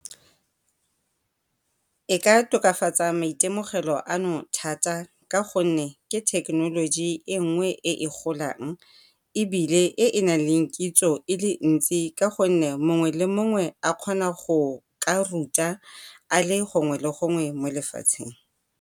E ka tokafatsa maitemogelo ano thata, ka gonne ke thekenoloji e nngwe e e golang. Ebile e e nang le kitso e le ntsi ka gonne mongwe le mongwe a kgona go ka ruta a le gongwe le gongwe mo lefatsheng.